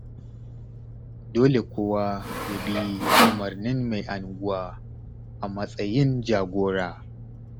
Dole kowa ya bi umarnin mai unguwa, a matsayin jagora.